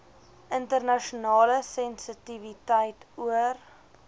internasionale sensitiwiteit oor